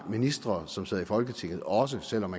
ministre som sidder i folketinget også selv om